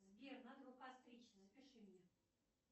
сбер надо бы постричься запиши меня